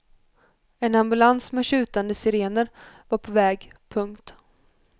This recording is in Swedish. En ambulans med tjutande sirener var på väg. punkt